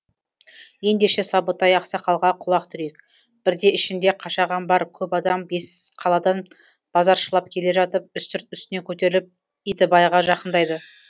ендеше сабытай ақсақалға құлақ түрейік бірде ішінде қашаған бар көп адам бесқаладан базаршылап келе жатып үстірт үстіне көтеріліп итібайға жақындайды